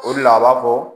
O de la a b'a fɔ